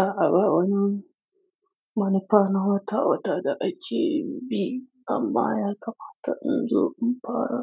A a bawa wani, wani kwanan wata wata da ake bi amma ya kamata in zo in fara.